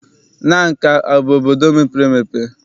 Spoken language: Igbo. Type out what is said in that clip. Nanka abụ obodo mepere emepe?